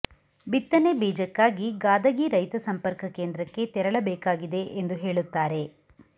ಬಿತ್ತನೆ ಬೀಜಕ್ಕಾಗಿ ಗಾದಗಿ ರೈತ ಸಂಪರ್ಕ ಕೇಂದ್ರಕ್ಕೆ ತೆರಳಬೇಕಾಗಿದೆ ಎಂದು ಹೇಳುತ್ತಾರೆ